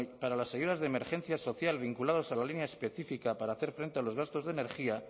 para las ayudas de emergencia social vinculados a la línea específica para hacer frente a los gastos de energía